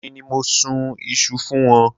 Èmi ni mo sun iṣu fún wọn.